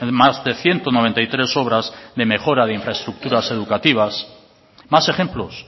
más de ciento noventa y tres obras de mejora de infraestructuras educativas más ejemplos